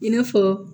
I n'a fɔ